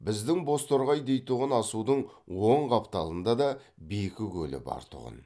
біздің бозторғай дейтұғын асудың оң қапталында да бекі көлі бар тұғын